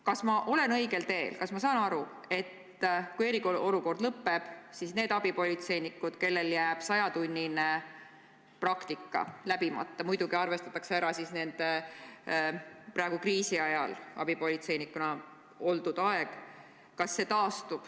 Kas ma olen õigel teel, kui saan aru, et kui eriolukord lõppeb, siis nendel abipolitseinikel, kellel jääb 100-tunnine praktika läbimata, läheb arvesse kriisiajal abipolitseinikuna oldud aeg?